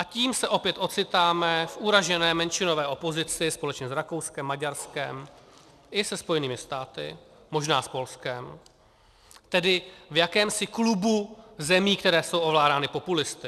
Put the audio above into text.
A tím se opět ocitáme v uražené menšinové opozici společně s Rakouskem, Maďarskem i se Spojenými státy, možná s Polskem, tedy v jakémsi klubu zemí, které jsou ovládány populisty.